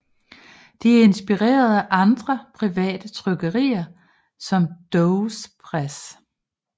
De inspirerede andre private trykkerier som Doves Press